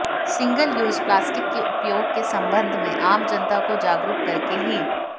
single use plastic के उपयोग के संबंध में आम जनता को जागरूक करके ही